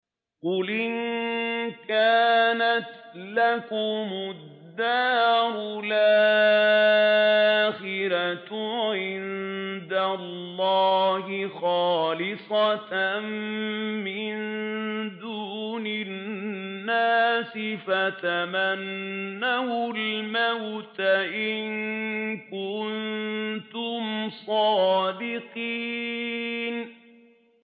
قُلْ إِن كَانَتْ لَكُمُ الدَّارُ الْآخِرَةُ عِندَ اللَّهِ خَالِصَةً مِّن دُونِ النَّاسِ فَتَمَنَّوُا الْمَوْتَ إِن كُنتُمْ صَادِقِينَ